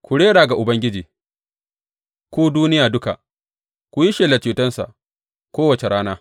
Ku rera ga Ubangiji, ku duniya duka; ku yi shelar cetonsa kowace rana.